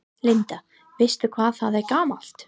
Linda: Veistu hvað það er gamalt?